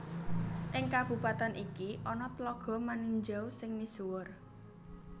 Ing kabupatèn iki ana Tlaga Maninjau sing misuwur